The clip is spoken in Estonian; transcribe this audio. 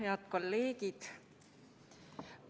Head kolleegid!